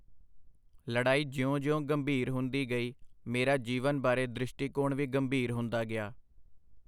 ਲੜਾਈ ਜਿਉਂ ਜਿਉਂ ਗੰਭੀਰ ਹੁੰਦੀ ਗਈ, ਮੇਰਾ ਜੀਵਨ ਬਾਰੇ ਦ੍ਰਿਸ਼ਟੀਕੋਣ ਵੀ ਗੰਭੀਰ ਹੁੰਦਾ ਗਿਆ.